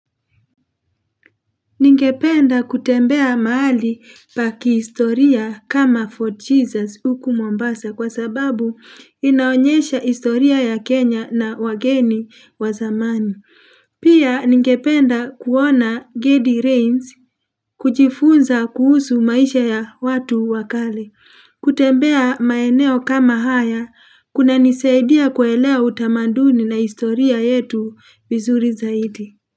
Ningependa kutembea mahali pakihistoria kama Fort Jesus huku Mombasa kwa sababu inaonyesha historia ya Kenya na wageni wa zamani. Pia ningependa kuona Gedi Reigns kujifunza kuhusu maisha ya watu wa kale. Kutembea maeneo kama haya kunanisaidia kuelewa utamanduni na historia yetu vizuri zaidi.